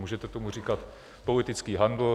Můžete tomu říkat politický handl.